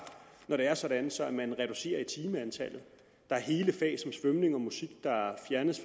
når det er sådan sådan at man reducerer timetallet der er hele fag som svømning og musik der er fjernet